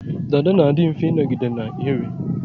Dada na-adi mfe ịnọgide na-enwe